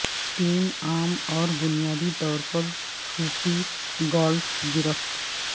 تین عام اور بنیادی طور پر صوتی گالف گرفت